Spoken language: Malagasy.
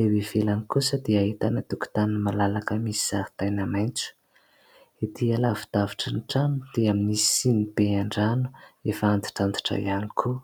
Eo ivelany kosa dia ahitana tokotany malalaka misy zaridaina maitso. Ety alavidavitry ny trano dia misy sinibe an-drano efa antitrantitra ihany koa.